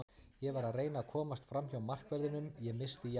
Ég var að reyna að komast framhjá markverðinum, ég missti jafnvægið.